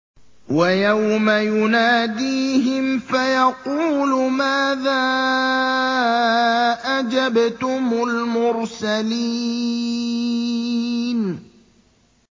وَيَوْمَ يُنَادِيهِمْ فَيَقُولُ مَاذَا أَجَبْتُمُ الْمُرْسَلِينَ